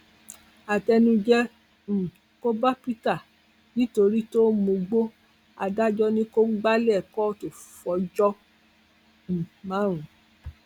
àtẹnujẹ um kò bá peter nítorí tó ń mugbó adájọ ni kò gbalẹ kóòtù fọjọ um márùn